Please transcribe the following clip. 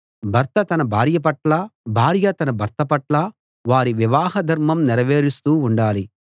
భర్త తన భార్య పట్లా భార్య తన భర్త పట్లా వారి వివాహ ధర్మం నెరవేరుస్తూ ఉండాలి